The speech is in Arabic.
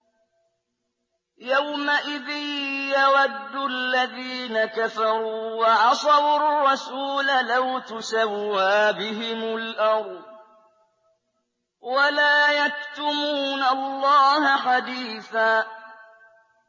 يَوْمَئِذٍ يَوَدُّ الَّذِينَ كَفَرُوا وَعَصَوُا الرَّسُولَ لَوْ تُسَوَّىٰ بِهِمُ الْأَرْضُ وَلَا يَكْتُمُونَ اللَّهَ حَدِيثًا